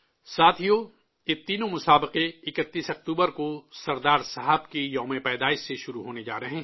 ساتھیو، یہ تینوں مقابلے 31 اکتوبر کو سردار صاحب کی جینتی سے شروع ہونے جا رہے ہیں